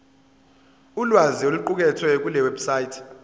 ulwazi oluqukethwe kulewebsite